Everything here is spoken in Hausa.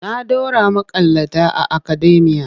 Na ɗora maƙalata a akademiya.